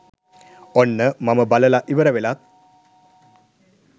ඔන්න මම බලලා ඉවර වෙලත්